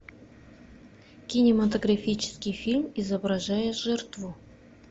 кинематографический фильм изображая жертву